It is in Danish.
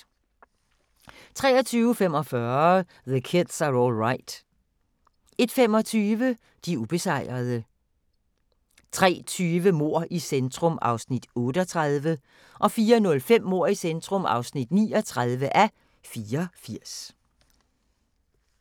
23:45: The Kids Are All Right 01:25: De ubesejrede 03:20: Mord i centrum (38:84) 04:05: Mord i centrum (39:84)